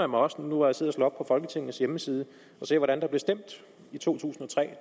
mig også nu hvor jeg sidder og folketingets hjemmeside og ser hvordan der blev stemt i to tusind og tre